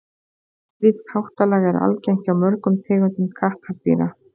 slíkt háttalag er algengt hjá mörgum tegundum kattardýra